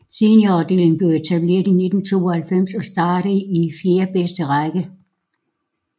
Seniorafdelingen blev etableret i 1992 og startede i fjerdebedste række